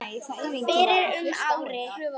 fyrir um ári.